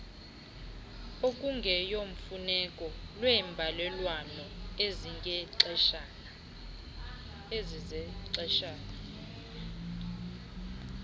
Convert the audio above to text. okungeyomfuneko lweembalelwano ezizexeshana